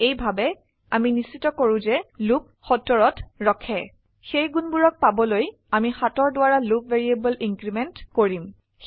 এইভাবে আমি নিশ্চিত কৰো যে লুপ 70ত ৰখে সেই গুণবোৰক পাবলৈ আমি 7 দ্বাৰা লুপ ভ্যাৰিয়েবল ইনক্ৰিমেন্ট কৰিম